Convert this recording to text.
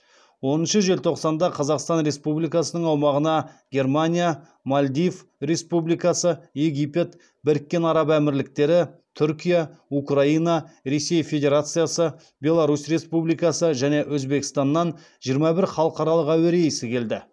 оныншы желтоқсанда қазақстан республикасының аумағына германия мальдив республикасы египет біріккен араб әмірліктері түркия украина ресей федерациясы беларусь республикасы және өзбекстаннан жиырма бір халықаралық әуе рейсі келді